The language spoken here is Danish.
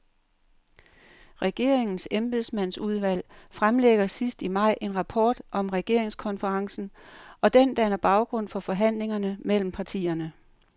Regeringens embedsmandsudvalg fremlægger sidst i maj en rapport om regeringskonferencen, og den danner baggrund for forhandlingerne mellem partierne.